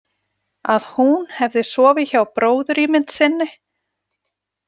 Að hún hefði sofið hjá bróðurímynd sinni?